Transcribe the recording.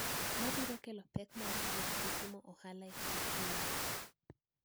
Mabiro kelo pek mar wuoth gi timo ohala e kind pinje